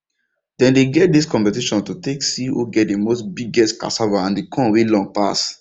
dem dey get dis competition to take see who get the most biggest cassava and the corn wey long pass